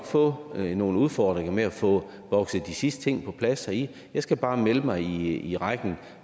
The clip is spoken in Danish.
få nogle udfordringer med at få bokset de sidste ting på plads heri jeg skal bare melde mig i rækken